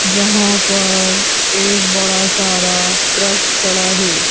जहाँ पर एक बड़ा सारा ट्रक खड़ा है।